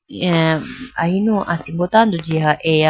eh ahinu asimbo tando jiha eya.